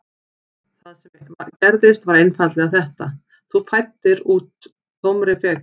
Það sem gerðist var einfaldlega þetta: Þú fæddir úr tómri frekju.